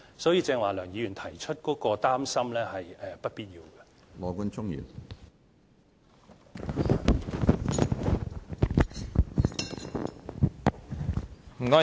所以，梁議員剛才提出的擔心，是不必要的。